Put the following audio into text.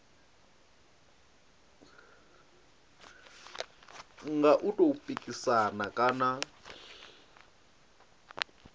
nga u tou pikisana kana